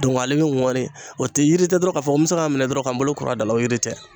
Dɔnku a be ŋɔni o te yiri tɛ dɔrɔn k'a fɔ ko n be se k'a minɛ dɔrɔn ka n bolo kur'a da la o yiri tɛ